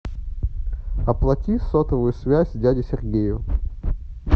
оплати сотовую связь дяде сергею